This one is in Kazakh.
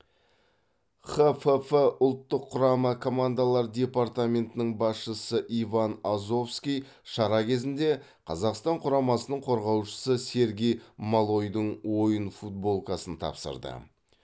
қфф ұлттық құрама командалар департаментінің басшысы иван азовский шара кезінде қазақстан құрамасының қорғаушысы сергей малойдың ойын футболкасын тапсырды